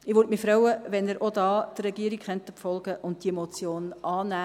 Ich würde mich freuen, wenn Sie auch hier der Regierung folgen könnten und die Motion annehmen würden.